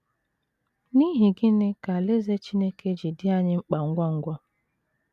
N’ihi gịnị ka Alaeze Chineke ji dị anyị mkpa ngwa ngwa?